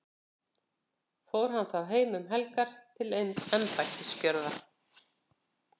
fór hann þá heim um helgar til embættisgjörða